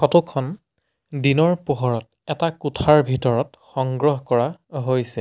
Photo খন দিনৰ পোহৰত এটা কোঠাৰ ভিতৰত সংগ্ৰহ কৰা হৈছে।